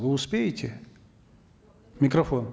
вы успеете микрофон